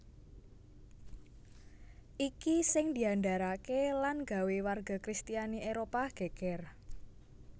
Iki sing diandharake lan gawé warga kristiani Éropah geger